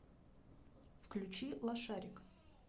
включи лошарик